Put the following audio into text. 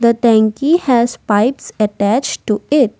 The tanky has pipes attached to it.